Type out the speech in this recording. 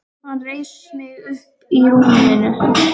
Hann reisir mig upp í rúminu.